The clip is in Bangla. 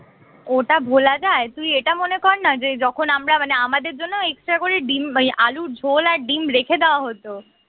ওটা ভোলা যায় তুই এটা মনে কর না যে যখন আমরা মানে আমাদের জন্য extra করে ডিম আলুর ঝোল আর ডিম রেখে দেওয়া হত